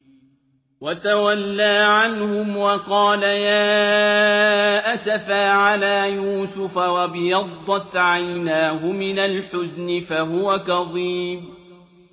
وَتَوَلَّىٰ عَنْهُمْ وَقَالَ يَا أَسَفَىٰ عَلَىٰ يُوسُفَ وَابْيَضَّتْ عَيْنَاهُ مِنَ الْحُزْنِ فَهُوَ كَظِيمٌ